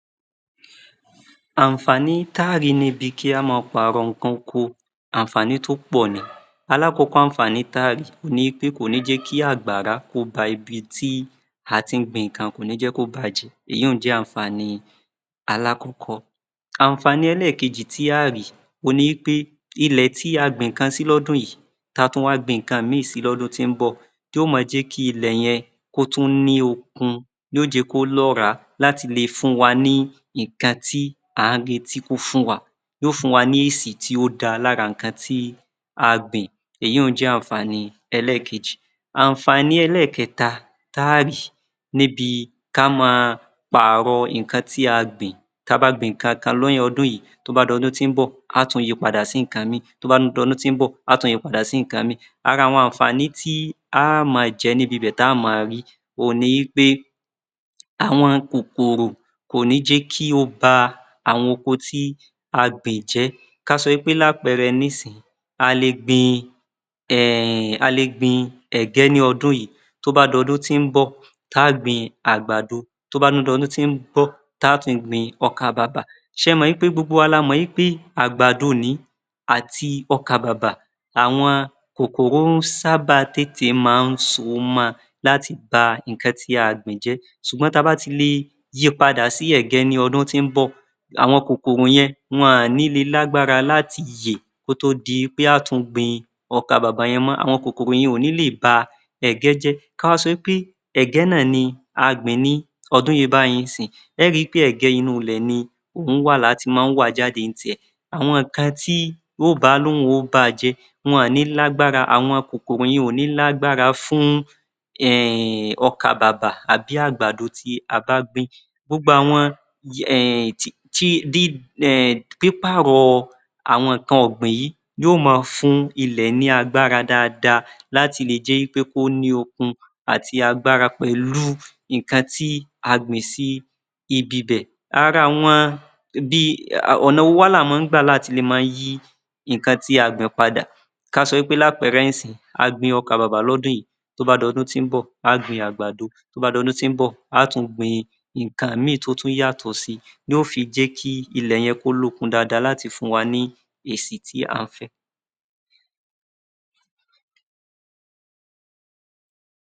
Àǹfààní tá à rí níbi kí a máa pààrọ̀ nǹkan oko, àǹfààní tó pọ̀ ni, alákọ̀ọ́kọ́ àǹfààní tí a á rí òhun ni pé kò ní jẹ́ kí àgbàrá kó ba ibi tí a tí ń gbin nǹkan kò ní jẹ́ kí ó bàájẹ́ ìyun-ùn jé àǹfààní alákọ̀ọ́kọ́. Àǹfààní ẹlẹ́ẹ̀kejì tí a óò rí òhun ni wí pé ilẹ̀ tí a gbin nǹkan sí ní ọdún yìí kí a tún wá gbin nǹkan ìmíì si lọ́dún tó ń bọ̀, yóò máa jẹ́ kí ilẹ̀ yẹn kí ó tún ní okun si, yóò jẹ́ kí ó lọ́ràá, á le fún wa ní nǹkan tí à ń retí pé kó fún wa, yóò fún wa ni èsì tí ó dára lára nǹkan tí a gbìn èyiun-ùn jẹ́ àǹfààní ẹlẹ́ẹ̀kejì. Àǹfààní ẹlẹ́ẹ̀kẹta tí a á rìí níbi ká ma pààrọ̀ nǹkan tí a gbìn, ti a bá gbin nǹkan kan ní ọdún yìí tí ó bá di ọdún tí ń bọ̀ a á tún yi padà sí nǹkan ìmíì tí ó bá tún di ọdún tí ń bọ̀ a á tún yi padà sí nǹkan ìmíì ara àwọn àǹfààní tí á máa jẹ níbi bẹ́è tí á máa rí òhun ni wí pé àwọn kòkòrò kò ní jẹ́ kí ó ba àwon oko tí a gbìn jẹ́. Ká sọ wí pé lápẹẹrẹ nísìnyí a lè gbin ẹ̀gẹ́ ní ọdún yìí tó bá dọdún tí ń bọ̀ a á gbin àgbàdo tó bá tún di ọdún tí ń bọ̀ tá tún gbin ọkàbàbà, ṣé ẹ mọ̀ wí pé gbogbo wa la mọ̀ wí pé àgbàdo ni àti ọkàbàbà àwọn kòkòrò sábà máa ń so mọ láti ba nǹkan tí a gbìn jẹ́, ṣùgbọ́n tí a bá fi le yi padà sí ẹ̀gẹ́ ní ọdún tí ń bọ̀, àwọn kòkòrò yen wọn ò ní le lágbára láti yè kótó di pé a tún gbin ọkàbàbà yẹn mọ́, àwọn kòkòrò yẹn kò ní lè ba ẹ̀gẹ́ jẹ́, ká wá sọ wí pé ẹ̀gẹ́ náà ni a gbìn ní ọdún yìí báyìí ní ìsin yìí ẹ ẹ́ ri pé ẹ̀gẹ́ inú ilẹ̀ ni òhun wà, tí a ti máa ń wa jáde ní tiẹ̀, àwọn nǹkan tí ó bá ní òhun ó bàá jẹ́ wọn ní lágbára àwọn kòkòrò yẹn ò ní lágbára fún ọkàbàbà àbí àgbàdo tí a bá gbìn, pípàrọ̀ àwon nǹkan gbìn yóò máa fún ilẹ̀ ní agbára dáadáa láti le jẹ́ wí pé kó ní okun àti agbára pẹ̀lú nǹkan tí a gbìn sí ibi bè. Ọ̀nà wo wá ni a wá ń gbà láti lè máa yí àwọn nǹkan tí a bá gbìn padà, kí a sọ pé ní àpẹẹrẹ a gbin ọkàbàbà lọ́dún yìí tó bá dọdún tí ń bò a á gbin àgbàdo tó bá dọdún tí ń bọ̀ a á tún gbin nǹkan ìmíì tí yóò tún yàtọ̀ si ni yóò fi jẹ́ kí ilẹ̀ yẹn kó lókun dáadáa láti fún wa ní èsì tí a fẹ́.